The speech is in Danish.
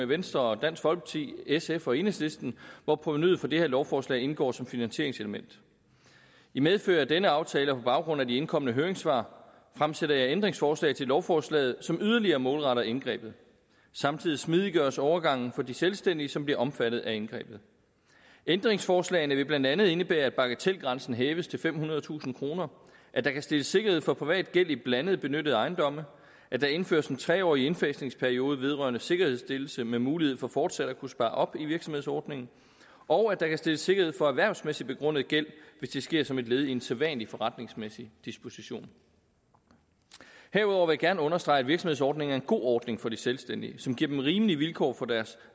venstre dansk folkeparti sf og enhedslisten hvor provenuet fra det her lovforslag indgår som finansieringselement i medfør af denne aftale og på baggrund af de indkomne høringssvar fremsætter jeg ændringsforslag til lovforslaget som yderligere målretter indgrebet samtidig smidiggøres overgangen for de selvstændige som bliver omfattet af indgrebet ændringsforslagene vil blandt andet indebære at bagatelgrænsen hæves til femhundredetusind kr at der kan stilles sikkerhed for privat gæld i blandede benyttede ejendomme at der indføres en tre årig indfasningsperiode vedrørende sikkerhedsstillelse med mulighed for fortsat at kunne spare op i virksomhedsordningen og at der kan stilles sikkerhed for erhvervsmæssig begrundet gæld hvis det sker som et led i en sædvanlig forretningsmæssig disposition herudover vil jeg gerne understrege at virksomhedsordningen er en god ordning for de selvstændige som giver dem rimelige vilkår for deres